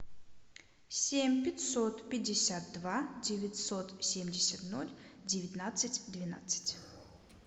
семь пятьсот пятьдесят два девятьсот семьдесят ноль девятнадцать двенадцать